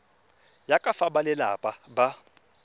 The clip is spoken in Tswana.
ya ka fa balelapa ba